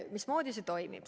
Mismoodi see toimib?